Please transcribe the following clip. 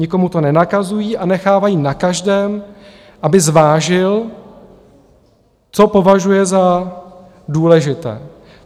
Nikomu to nenakazují a nechávají na každém, aby zvážil, co považuje za důležité.